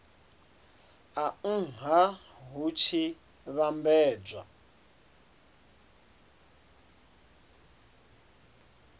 a nha hu tshi vhambedzwa